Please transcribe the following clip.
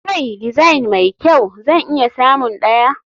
Kai design mai kyau? zan iya samun ɗaya.